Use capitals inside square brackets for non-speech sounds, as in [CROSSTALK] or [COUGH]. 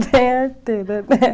[LAUGHS] Bem arteira, né?